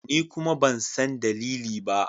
Ni kuma ban san dalili ba.